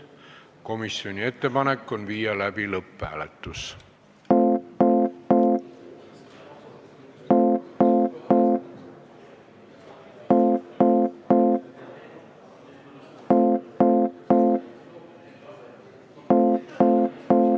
Komisjoni ettepanek on viia läbi lõpphääletus.